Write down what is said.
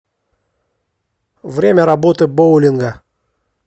время работы боулинга